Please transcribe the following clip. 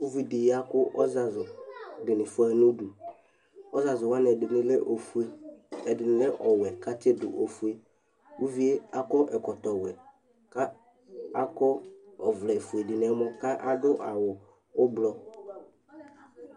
Ʋvɩ dɩ ya kʋ ɔzazʋ dɩnɩ fʋayɩ nʋdʋ Ɔzazʋ wanɩ ɛdɩnɩ lɛ ofʋe ɛdɩ lɛ ɔwɛ katsɩdʋ ofʋe ʋvɩe akɔ ɛkɔtɔ wɛ kakɔ ɔvlɛ fʋe dɩ nɛmɔ kadʋ awʋ ʋblɔ